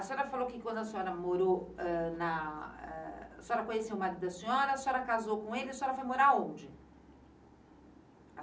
A senhora falou que quando a senhora morou eh na, eh... A senhora conheceu o marido da senhora, a senhora casou com ele, a senhora foi morar onde?